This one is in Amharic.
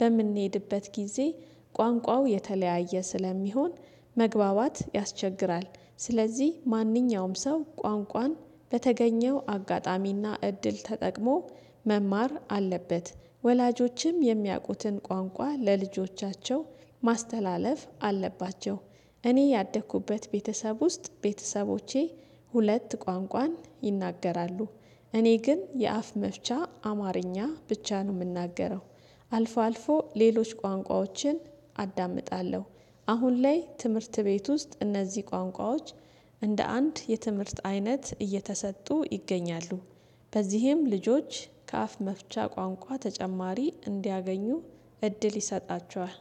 በምንሄድበት ጊዜ ቋንቋው የተለያየ ስለሚሆን መግባባት ያስቸግራል። ስለዚህ ማንኛውም ሰው ቋንቋን በተገኘው አጋጣሚና እድል ተጠቅሞ መማር አለበት። ወላጆችም የሚያውቁትን ቋንቋ ለልጆቻቸው ማስተላለፍ አለባቸው። እኔ ያደኩበት ቤተሰብ ውስጥ ቤተሰቦቼ ሁለት ቋንቋን ይናገራሉ። እኔ ግን የአፍ መፍቻ አማርኛ ብቻ ነው የምናገረው። አልፎ አልፎ ሌሎች ቋንቋዎችን አዳምጣለሁ። አሁን ላይ ትምህርት ቤት ውስጥ እነዚህ ቋንቋዎች እንደ አንድ የትምህርት አይነት እየተሰጡ ይገኛሉ። በዚህም ልጆች ከአፍ መፍቻ ቋንቋ ተጨማሪ እንዲያገኙ እድል ይሰጣቸዋል።